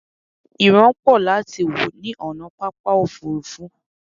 ìran pọ láti wò ní ònà pápá òfurufú